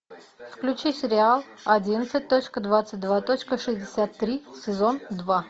включи сериал одиннадцать точка двадцать два точка шестьдесят три сезон два